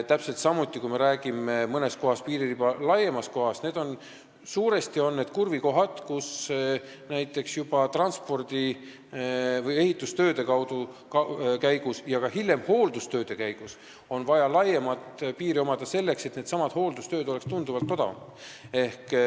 Täpselt samuti, kui me räägime piiririba laiematest kohtadest, siis suuresti on need kurvikohad, kus näiteks juba transpordi, ehitustööde ja hiljem ka hooldustööde jaoks on vaja laiemat riba, selleks et needsamad tööd oleksid tunduvalt odavamad.